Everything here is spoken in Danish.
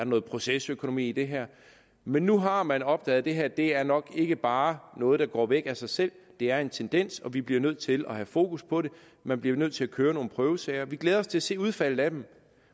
noget procesøkonomi i det her men nu har man opdaget at det her nok ikke bare er noget der går væk af sig selv det er en tendens og vi bliver nødt til at have fokus på det man bliver nødt til at køre nogle prøvesager vi glæder os til at se udfaldet af dem